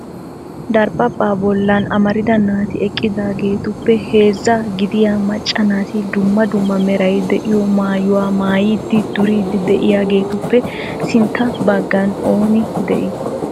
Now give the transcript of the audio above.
Daraphphpa bolla amarida naati eqqiidaagetuppe heezza gidiyaa macca naati dumma dumma meray de'iyo maayyuwaa maayyidi duriidi de'iyaagetuppe sintta baggan oone de'i?